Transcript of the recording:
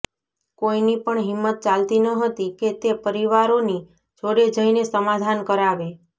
કોઈની પણ હિંમત ચાલતી ન હતી કે તે પરિવારોની જોડે જઈને સમાધાન કરાવે